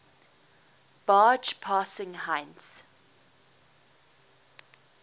barge passing heinz